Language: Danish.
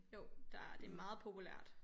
Jo der det er meget populært